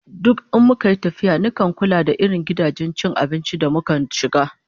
Duk in muka yi tafiya nakan kula da irin gidajen cin abinci da mukan shiga